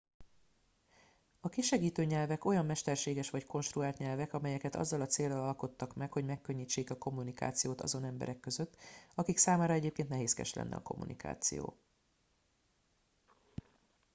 a kisegítő nyelvek olyan mesterséges vagy konstruált nyelvek amelyeket azzal a céllal alkottak meg hogy megkönnyítsék a kommunikációt azon emberek között akik számára egyébként nehézkes lenne a kommunikáció